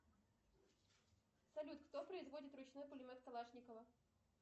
салют кто производит ручной пулемет калашникова